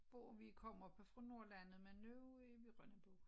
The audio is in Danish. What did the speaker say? Bor vi kommer oppe fra norlanned men nu er vi Rønnabo